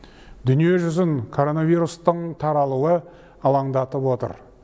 дүние жүзін коронавирустың таралуы алаңдатып отыр